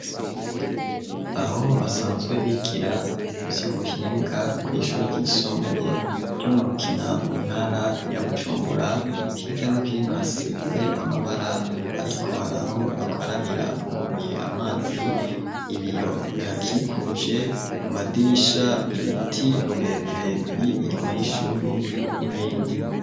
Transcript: Aho basanzwe bigira ivy'ubuhinga kw'ishure ryisumbuye ryo mu Rukina, mu ntara ya Bujumbura, hirya no hino hasize amabara ariko hari aho bakarabira buguruye amazi, ibiyo bihakikuje ku madirisha, ibiti birebire biri inyuma y'ishure n'ibindi.